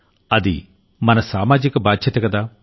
అది మన సామాజిక బాధ్యతకదా